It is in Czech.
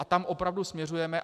A tam opravdu směřujeme.